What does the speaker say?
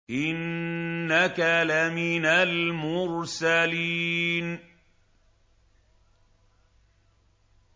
إِنَّكَ لَمِنَ الْمُرْسَلِينَ